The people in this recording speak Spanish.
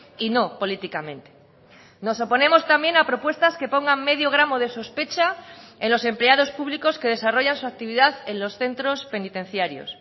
y no políticamente nos oponemos también a propuestas que pongan medio gramo de sospecha en los empleados públicos que desarrollan su actividad en los centros penitenciarios